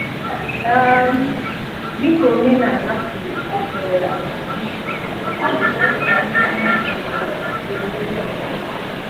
um Dịka omenaala siri um kwu, ọ bụ sọọsọ ndị gburu ichi ga-emeri ọnwụ.